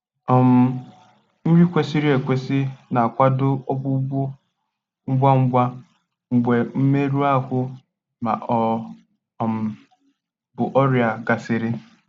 um Nri kwesịrị ekwesị na-akwado ọgwụgwọ ngwa ngwa mgbe mmerụ ahụ ma ọ um bụ ọrịa gasịrị